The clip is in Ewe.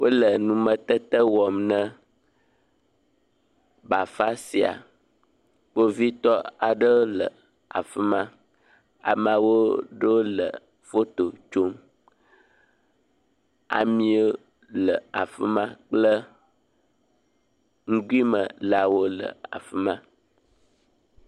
Wole numetete wɔm na bafa sia, kpovitɔ aɖe le afi ma, amewo ɖo le foto tsom, ami le afi ma kple nugui me le afi ma.